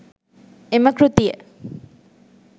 එම කෘතිය